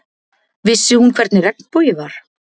Vissi hún hvernig regnbogi var?